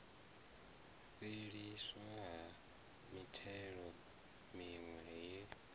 fhelisiwa ha mithelo miwe ye